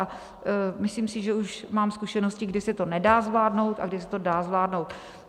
A myslím si, že už mám zkušenosti, kdy se to nedá zvládnout a kdy se to dá zvládnout.